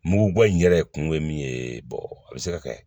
Mugu bɔ in yɛrɛ kun ye min ye a bɛ se ka kɛ